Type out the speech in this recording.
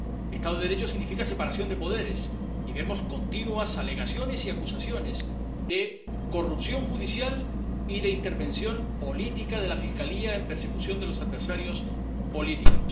Estado de Derecho significa separación de poderes, y vemos continuas alegaciones y acusaciones de corrupción judicial y de intervención política de la Fiscalía en persecución de los adversarios políticos.